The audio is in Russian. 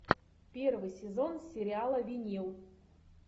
первый сезон сериала винил